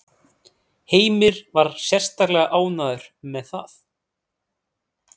Heimir var sérstaklega ánægður með það?